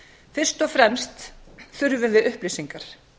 fyrst og fremst þurfum við upplýsingar